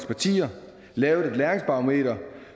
partier lavet et læringsbarometer